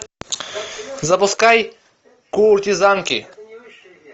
запускай куртизанки